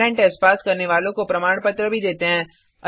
online test pass करने वालों को प्रमाण पत्र भी देते हैं